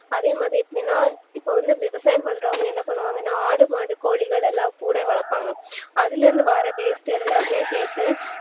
அதேமாதிரி எப்டினா இப்போ வந்து விவசாயம் பண்றவங்க என்ன பண்ணுராங்கனா ஆடு மாடு கோழிலாம் கூடவே வளப்பாங்க அதுலஇருந்து வர waste எல்லாமே சேத்து